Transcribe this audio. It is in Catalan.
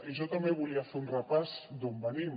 i jo també volia fer un repàs d’on venim